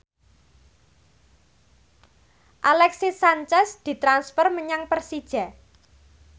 Alexis Sanchez ditransfer menyang Persija